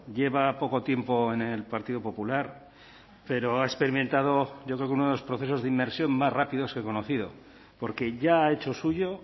lleva poco tiempo en el partido popular pero ha experimentado yo creo que uno de los procesos de inmersión más rápidos que he conocido porque ya ha hecho suyo